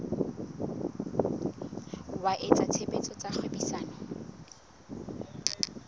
wa etsa tshebetso tsa kgwebisano